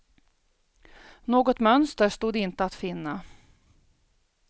Något mönster stod inte att finna.